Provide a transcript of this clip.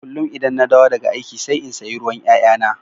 Kullum idan na dawo daga aiki sai in sayi ruwan 'ya'yana